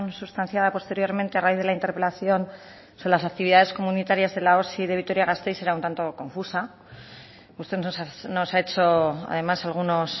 sustanciada posteriormente a raíz de la interpelación sobre las actividades comunitarias de la osi de vitoria gasteiz era un tanto confusa usted nos ha hecho además algunos